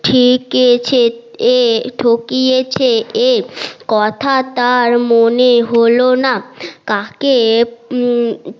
ঠিকেছে এ ঠকিয়েছে এ কথা তার মনে হলো না কাকে